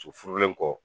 So furulen kɔ